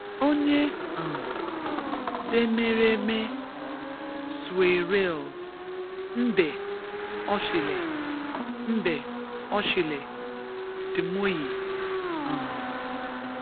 Onye um d’emereme suer’el’ mbe oshile mbe oshile d’moyi um